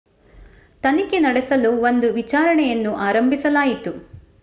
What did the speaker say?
ತನಿಖೆ ನಡೆಸಲು ಒಂದು ವಿಚಾರಣೆಯನ್ನು ಆರಂಭಿಸಲಾಯಿತು